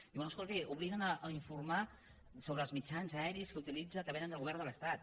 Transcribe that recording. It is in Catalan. diu bé escolti obliguen a informar sobre els mitjans aeris que utilitza que vénen del govern de l’estat